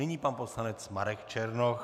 Nyní pan poslanec Marek Černoch.